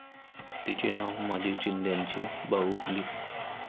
तिचे नाव माझी चिंध्यांची बाहुली.